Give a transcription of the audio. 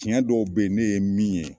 Cɛn dɔw be ye, ne ye min ye